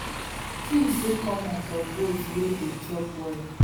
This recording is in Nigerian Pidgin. twins dey common for goats way dey chop well